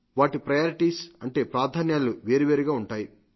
వాటి ప్రయారిటీస్ అంటే ప్రాధమ్యాలు వేర్వేరుగా ఉంటాయి